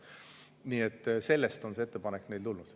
Nii et sellest on see ettepanek tulnud.